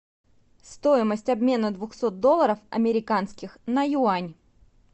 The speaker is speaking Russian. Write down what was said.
стоимость обмена двухсот долларов американских на юань